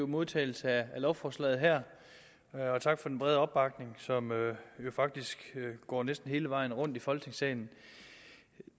modtagelse af lovforslaget her og tak for den brede opbakning som faktisk går næsten hele vejen rundt i folketingssalen